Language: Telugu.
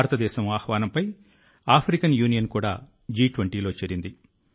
భారతదేశం ఆహ్వానంపై ఆఫ్రికన్ యూనియన్ కూడా G20లో చేరింది